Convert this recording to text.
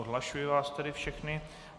Odhlašuji vás tedy všechny.